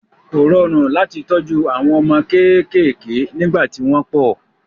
Kò rọrùn láti tọ́jú àwọn ọmọ kéékèèké nígbà tí wọ́n pọ̀.